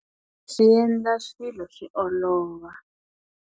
Swi endla swilo swi olova.